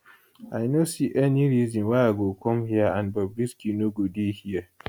i no see any reason why i go come here and bobrisky no go dey here